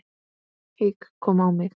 Hik kom á mig.